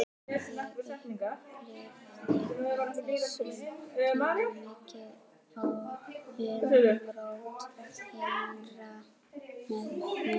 Ég upplifði á þessum tíma mikið umrót innra með mér.